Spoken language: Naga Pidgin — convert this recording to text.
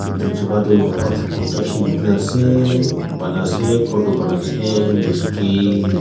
edu juka toh half construction huina ase bana ase khor toh banaase Mistry.